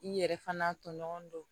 I yɛrɛ fana tɔɲɔgɔn dɔ